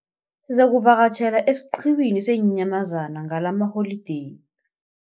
Sizakuvakatjhela esiqhiwini seenyamazana ngalamaholideyi.